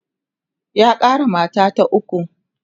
ya Kara mata ta ukwu